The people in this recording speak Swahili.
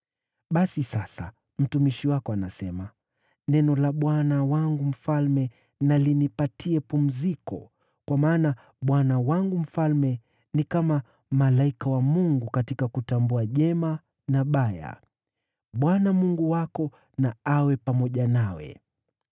“Basi sasa mtumishi wako anasema, ‘Neno la bwana wangu mfalme na linipatie pumziko, kwa maana bwana wangu mfalme ni kama malaika wa Mungu katika kutambua jema na baya. Bwana Mungu wako na awe pamoja nawe.’ ”